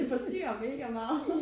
Det forstyrrer mega meget